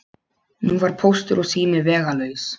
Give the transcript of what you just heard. Nú var Póstur og sími vegalaus.